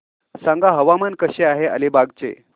सांगा हवामान कसे आहे अलिबाग चे